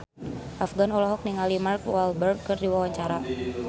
Afgan olohok ningali Mark Walberg keur diwawancara